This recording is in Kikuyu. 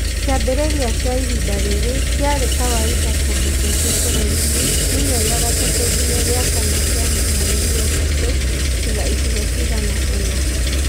Kĩambĩrĩria kĩa ihĩnda rĩrĩ kĩarĩ kawaida kũndũ kũingĩ bũrũri-inĩ (kiumia gĩa gatatũ nginya gĩa kana kĩa mweri wetatũ) tiga icigo cigana ũna.